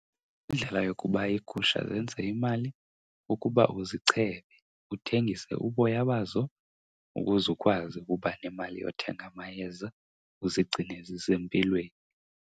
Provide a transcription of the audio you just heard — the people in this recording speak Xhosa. Indlela yokuba iigusha zenze imali kukuba uzichebe uthengise uboya bazo ukuze ukwazi ukuba nemali yothenga amayeza uzigcine zisempilweni.